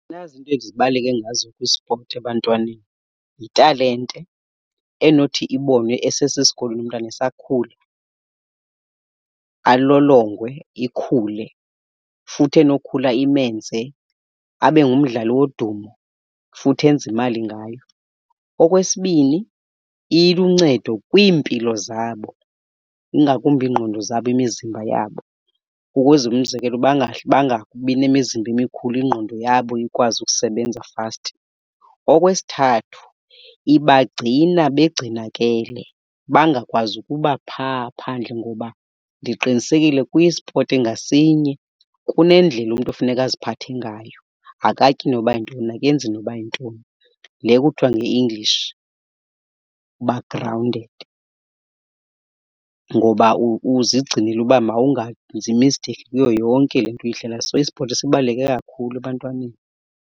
Nazi iinto ezibaluleke ngazo kwisipoti ebantwaneni. Yitalente enothi ibonwe esesesikolweni umntwana esakhula, alolongwe ikhule futhi enokhula imenze abe ngumdlali wodumo futhi enze imali ngayo. Okwesibini, iluncedo kwiimpilo zabo ingakumbi iingqondo zabo, imizimba yabo ukuze, umzekelo, bangabi nemizimba emikhulu, ingqondo yabo ikwazi ukusebenza fast. Okwesithathu, ibagcina begcinakele bangakwazi ukuba phaa phandle, ngoba ndiqinisekile kwispoti ngasinye kunendlela umntu funeka aziphathe ngayo. Akatyi noba yintoni akenzi noba yintoni, le kuthiwa nge-English uba grounded. Ngoba uzigcinele uba mawungenzi i-mistake kuyo yonke le nto uyidlalayo. So ispoti sibaluleke kakhulu ebantwaneni.